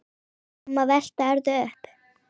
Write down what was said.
Svo má velta öðru upp.